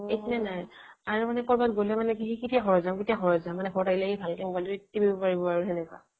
eight নে nine আৰু কৰবাত গলে মানে কেতিয়া যাও কেতিয়া যাও মানে ঘৰত আহিলে সি ভালকৈ মোবাইলটো টিপিব পাৰিব আৰু সেনেকুৱা